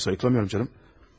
Xeyr, sayıqlamıram canım.